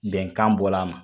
Bɛnkan bɔla a ma.